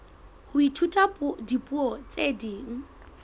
ho ithuta dipuo tse ding